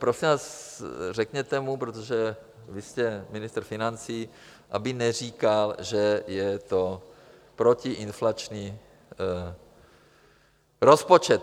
Prosím vás , řekněte mu, protože vy jste ministr financí, aby neříkal, že je to protiinflační rozpočet.